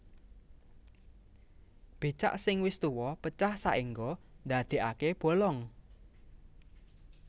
Becak sing wis tuwa pecah saéngga ndadèkaké bolong